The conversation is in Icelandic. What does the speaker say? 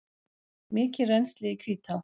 Mikið rennsli í Hvítá